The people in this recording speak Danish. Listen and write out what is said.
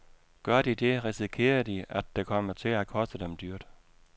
Gør de det, risikerer de, at det kommer til at koste dem dyrt.